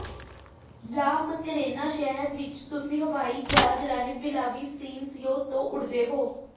ਲਾ ਮੈਕਰੇਨਾ ਸ਼ਹਿਰ ਵਿੱਚ ਤੁਸੀਂ ਹਵਾਈ ਜਹਾਜ਼ ਰਾਹੀਂ ਵਿਲਾਵੀਸੀਨਸੀਓ ਤੋਂ ਉੱਡਦੇ ਹੋ